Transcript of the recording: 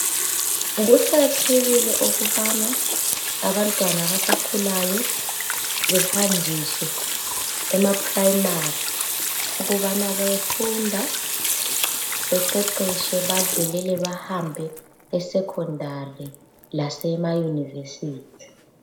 Kuqakathekile ukubana abantwana abasakhulayo behanjiswe ama Primary ukubana bayefunda beqeqeshe badlulele bahambe esecondary lasema university.